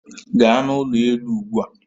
Gaa n'ụlọ elu ugbu a